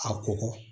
A kokɔ